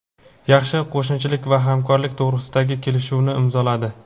yaxshi qo‘shnichilik va hamkorlik to‘g‘risida kelishuvni imzoladi.